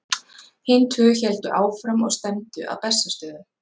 hin tvö héldu áfram og stefndu að bessastöðum